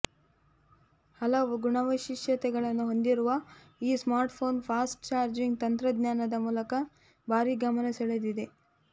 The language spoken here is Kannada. ಹಲವು ಗುಣವೈಶಿಷ್ಟ್ಯತೆಗಳನ್ನು ಹೊಂದಿರುವ ಈ ಸ್ಮಾರ್ಟ್ಫೋನ್ ಫಾಸ್ಟ್ ಚಾರ್ಜಿಂಗ್ ತಂತ್ರಜ್ಞಾನದ ಮೂಲಕ ಭಾರೀ ಗಮನ ಸೆಳೆದಿದೆ